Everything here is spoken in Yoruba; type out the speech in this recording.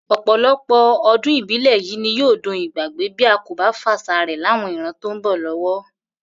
Ò̩pò̩lo̩pò̩ o̩dún ibile yìí ni yóò dohun ìgbàgbé bí a kò bá fàṣà rè̩ láwọn ìran tó ń bò̩ ló̩wó̩